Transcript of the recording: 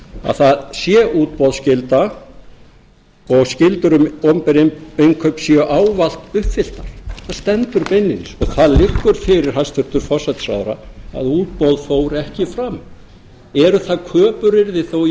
að það sé útboðsskylda og skyldur um opinber innkaup séu ávallt uppfylltar það stendur beinlínis það liggur fyrir hæstvirtan forsætisráðherra að útboð fór ekki fram eru það köpuryrði þó